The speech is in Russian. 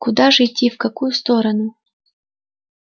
куда же идти в какую сторону